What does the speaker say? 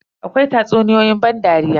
Akwai tatsuniyoyi ban dariya.